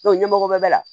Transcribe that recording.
ɲɛmɔgɔ bɛɛ bɛ la